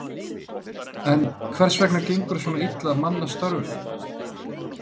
En hvers vegna gengur svona illa að manna störfin?